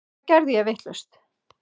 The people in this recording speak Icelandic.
Hvað geri ég vitlaust?